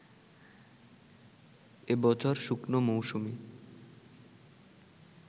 এবছর শুকনো মৌসুমে